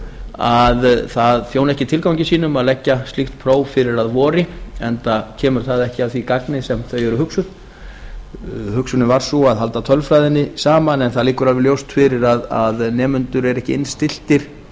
að það þjóni ekki tilgangi sínum að leggja slíkt próf fyrir að vori enda kemur það ekki að því gagni sem þau eru hugsuð hugsunin var sú að halda tölfræðinni saman en það liggur alveg ljóst fyrir að nemendur eru ekki innstilltir